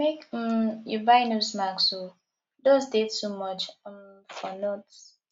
make um you buy nose mask o dust dey too much um for north